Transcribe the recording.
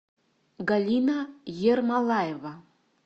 галина ермолаева